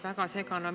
Väga segane!